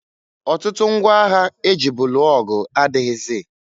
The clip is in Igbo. Ọtụtụ ngwa agha e jibu lụọ ọgụ adịghịzị.